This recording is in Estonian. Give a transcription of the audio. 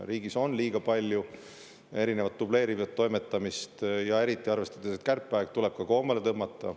Riigis on liiga palju dubleerivat toimetamist, ja arvestades seda, et on kärpeaeg, tuleb koomale tõmmata.